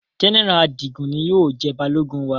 General Adigun ni yóò jẹ balogun wa